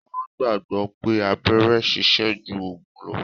Wọn gbagbọ pé abẹ́rẹ́ sise ju ògùn lo